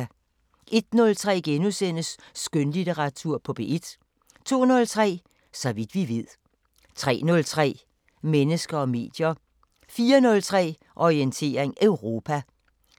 01:03: Skønlitteratur på P1 * 02:03: Så vidt vi ved 03:03: Mennesker og medier 04:03: Orientering Europa